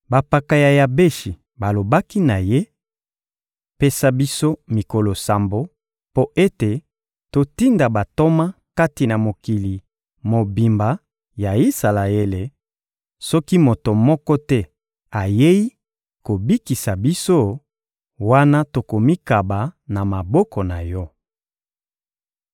Bampaka ya Yabeshi balobaki na ye: — Pesa biso mikolo sambo mpo ete totinda bantoma kati na mokili mobimba ya Isalaele; soki moto moko te ayei kobikisa biso, wana tokomikaba na maboko na yo.